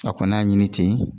A kɔni y'a ɲini ten